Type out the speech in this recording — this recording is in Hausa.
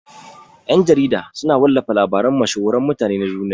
Ƴan-jarida suna wallafa labaran mashhuran mutane na duniya.